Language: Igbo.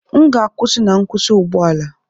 M ga-akwụsị na nkwụsị ụgbọ ala